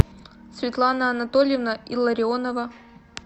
светлана анатольевна илларионова